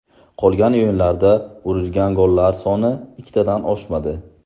Qolgan o‘yinlarda urilgan gollar soni ikkitadan oshmadi.